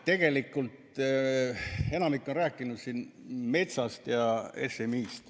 Tegelikult enamik on rääkinud siin metsast ja SMI-st.